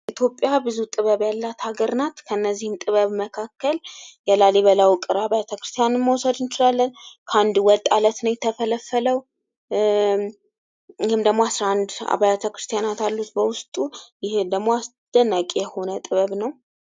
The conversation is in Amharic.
ኢትዮጵያ ብዙ ጥበብ ያላት ሀገር ናት ከነዚህም ጥበብ መካከል የላሊበላ ውቅር አብያተክርስቲያንን መውሰድ እንችላለን ከአንድ ወጥ አለት ነው የተፈለፈለው ይህም ደግሞ 11 አብያተክርስቲያናት አሉት በውስጡ ይህ ደግሞ አስደናቂ የሆነ ጥበብ ነው።